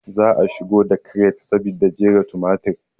Za a shigo da kiret saboda jera tumatir